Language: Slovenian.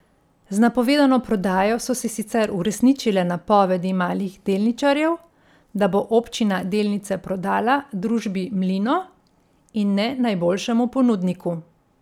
Z napovedano prodajo so se sicer uresničile napovedi malih delničarjev, da bo občina delnice prodala družbi Mlino, in ne najboljšemu ponudniku.